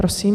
Prosím.